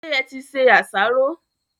Ṣé e ti se àsáró?